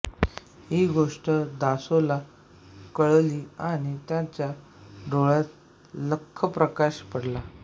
ही गोष्ट दासोला कळली आणि त्याच्या डोक्यात लख्खप्रकाश पडला